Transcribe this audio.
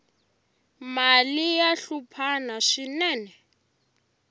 mali ya hluphana swinene